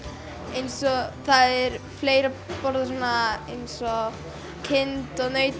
eins og það er fleira borðað svona eins og kind og naut